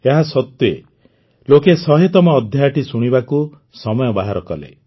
ଏହାସତ୍ୱେ ଲୋକେ ୧୦୦ତମ ଅଧ୍ୟାୟଟି ଶୁଣିବାକୁ ସମୟ ବାହାର କଲେ